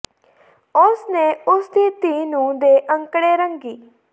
ਉਸ ਨੇ ਉਸ ਦੀ ਧੀ ਨੂੰ ਦੇ ਅੰਕੜੇ ਰੰਗੀ